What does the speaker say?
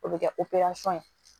O bɛ kɛ ye